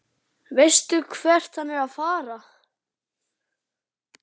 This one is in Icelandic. Hver stendur þá á verðlaunapalli eilífðarinnar?